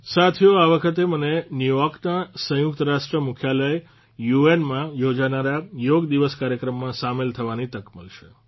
સાથીઓ આ વખતે મને ન્યૂયોર્કના સંયુક્ત રાષ્ટ્ર મુખ્યાલય યુએનમાં યોજાનારા યોગ દિવસ કાર્યક્રમમાં સામેલ થવાની તક મળશે